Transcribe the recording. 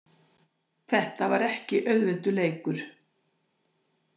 Þetta var ekki auðveldur leikur